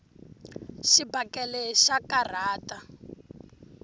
xibakele xa karhata